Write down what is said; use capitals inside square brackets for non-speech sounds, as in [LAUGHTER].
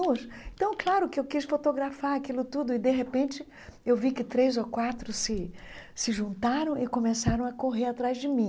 [UNINTELLIGIBLE] Então, claro que eu quis fotografar aquilo tudo e, de repente, eu vi que três ou quatro se se juntaram e começaram a correr atrás de mim.